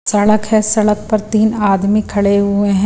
सड़क है सड़क पर तीन आदमी खड़े हुए हैं।